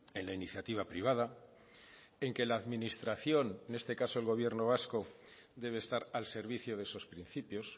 en la iniciativa privada en que la administración en este caso el gobierno vasco debe estar al servicio de esos principios